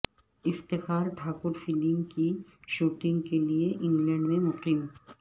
Iftikhar Thakur film کی shooting کیلئے England میں مقیم